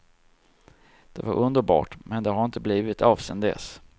Det var underbart, men det har inte blivit av sedan dess.